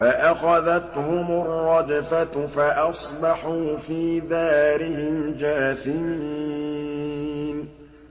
فَأَخَذَتْهُمُ الرَّجْفَةُ فَأَصْبَحُوا فِي دَارِهِمْ جَاثِمِينَ